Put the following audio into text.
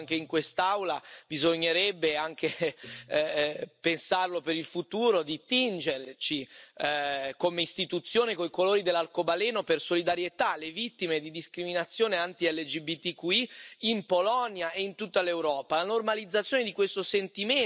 Oggi, dopo quello che si è sentito anche in quest'Aula, bisognerebbe anche pensare, per il futuro, di tingerci, come Istituzione, coi colori dell'arcobaleno per solidarietà alle vittime di discriminazioni anti LGBTQI in Polonia e in tutta l'Europa.